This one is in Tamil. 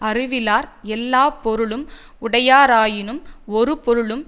அறிவிலார் எல்லா பொருளும் உடையாராயினும் ஒரு பொருளும்